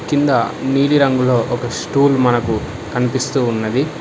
కింద నీలిరంగులో ఒక స్టూల్ మనకు కనిపిస్తూ ఉన్నది.